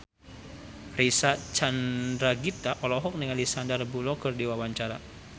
Reysa Chandragitta olohok ningali Sandar Bullock keur diwawancara